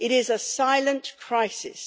It is a silent crisis.